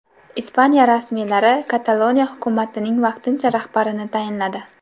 Ispaniya rasmiylari Kataloniya hukumatining vaqtincha rahbarini tayinladi.